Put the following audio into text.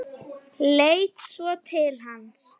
Leit svo til hans.